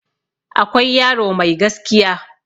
akwai yaro Mai gaskiya